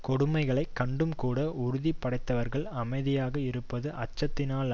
கொடுமைகளைக் கண்டும்கூட உறுதி படைத்தவர்கள் அமைதியாக இருப்பது அச்சத்தினால்